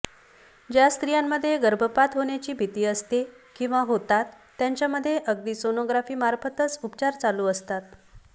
ज्या स्त्रियांमध्ये गर्भपात होण्याची भीती असते किंवा होतात त्यांच्यामध्ये अगदी सोनोग्राफीमार्फतच उपचार चालू असतात